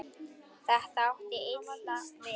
Þetta átti illa við